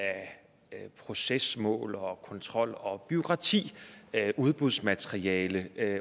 procesmål og omfanget af kontrol og bureaukrati udbudsmateriale